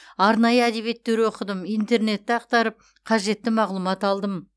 арнайы әдебиеттер оқыдым интернетті ақтарып қажетті мағлұмат алдым